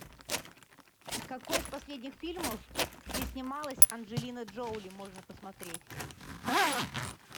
какой из последних фильмов где снималась анджелина джоли можно посмотреть